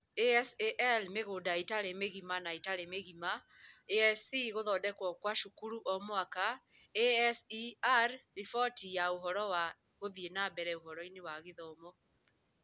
ASAL Mĩgũnda ĩtarĩ mĩgima na ĩtaarĩ mĩgima ASC Gũthondekwo kwa Cukuru o Mwaka ASER Riboti ya Ũhoro wa Gũthiĩ na Mbere Ũhoro-inĩ wa Gĩthomo